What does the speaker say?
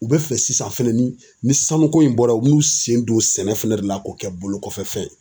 U bɛ fɛ sisan fɛnɛ ni sanu ko in bɔra u bi n'u sen don sɛnɛ fɛnɛ de la k'o kɛ bolokɔfɛfɛn ye.